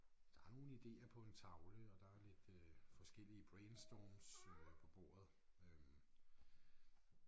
Der er nogle ideer på en tavle og der er lidt øh forskellige brainstorms øh på bordet øh